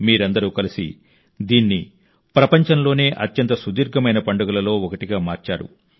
మీరందరూ కలిసి దీన్ని ప్రపంచంలోనే అత్యంత సుదీర్ఘమైన పండుగలలో ఒకటిగా మార్చారు